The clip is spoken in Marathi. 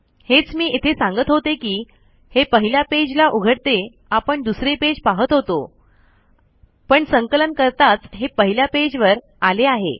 हेच मी इथे सांगत होते कि हे पहिल्या पेज ला उघडते आपण दुसरे पेज पाहत होतो पण संकलन करताच हे पहिल्या पेज वर आले आहे